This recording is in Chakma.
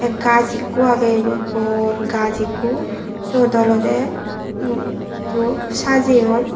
tey gaas ekko agey bor gaas ekko seyot olodey um hissu sajeyun.